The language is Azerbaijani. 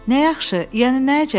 Nə yaxşı, yəni nə əcəb.